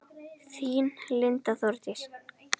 Þín Linda Þórdís.